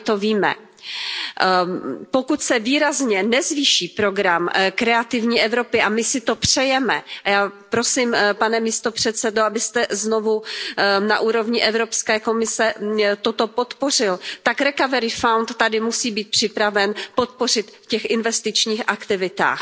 A my to víme. Pokud se výrazně nezvýší program Kreativní Evropy a my si to přejeme, já prosím, pane místopředsedo, abyste znovu na úrovni Evropské komise toto podpořil tak Recovery Fund tady musí být připraven poskytnout podporu v těch investičních aktivitách.